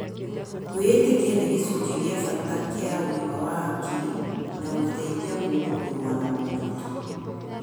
Kwĩĩtĩkia nĩ gĩcunjĩ gĩa bata kĩa ũgima wa hakiri na gũteithia mũndũ kũrũa na moritũ.